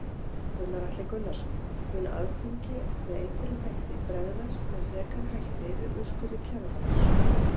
Gunnar Atli Gunnarsson: Mun Alþingi með einhverjum hætti bregðast, með frekari hætti við úrskurði Kjararáðs?